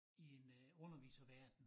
I en øh underviserverden